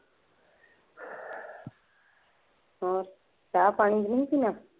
ਹੋਰ ਚਾਹ ਪਾਣੀ ਨਹੀਂ ਪੀਣਾ।